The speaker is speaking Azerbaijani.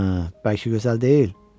Hə, bəlkə gözəl deyil?